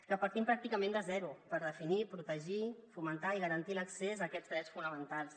que partim pràcticament de zero per definir protegir fomentar i garantir l’accés a aquests drets fonamentals